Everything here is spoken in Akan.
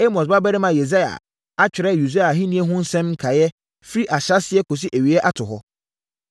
Amos babarima Yesaia atwerɛ Usia ahennie ho nsɛm nkaeɛ firi ahyɛaseɛ kɔsi awieeɛ ato hɔ.